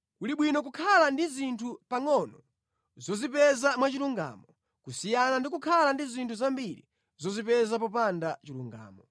Kuli bwino kukhala ndi zinthu pangʼono zozipeza mwachilungamo, kusiyana ndi kukhala ndi zinthu zambiri zozipeza popanda chilungamo.